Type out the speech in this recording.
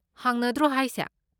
ꯍꯥꯡꯅꯗ꯭ꯔꯣ ꯍꯥꯏꯁꯦ?